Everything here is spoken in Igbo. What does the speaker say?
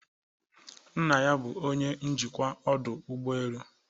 nna ya bu onye njikwa ọdụ ụgbọelu